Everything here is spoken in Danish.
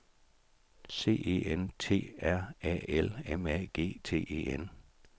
C E N T R A L M A G T E N